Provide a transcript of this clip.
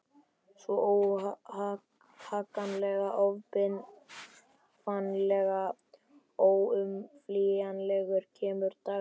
Svo, óhagganlega, óbifanlega, óumflýjanlega kemur dagurinn.